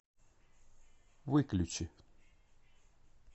выключи